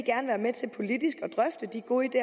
god idé